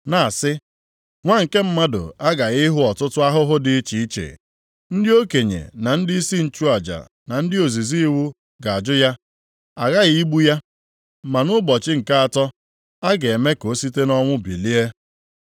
na-asị, “Nwa nke Mmadụ aghaghị ịhụ ọtụtụ ahụhụ dị iche iche. Ndị okenye na ndịisi nchụaja, na ndị ozizi iwu ga-ajụ ya. Aghaghị igbu ya, ma nʼụbọchị nke atọ, a ga-eme ka o site nʼọnwụ bilie.”